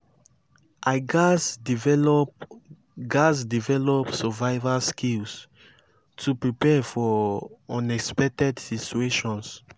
i gats develop gats develop survival skills to prepare for unexpected situations.